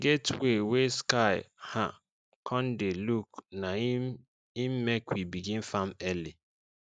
dey get way wey sky um con dey look na im im make we begin farm early